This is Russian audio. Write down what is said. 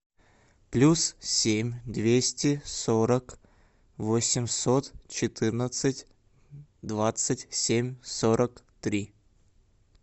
плюс семь двести сорок восемьсот четырнадцать двадцать семь сорок три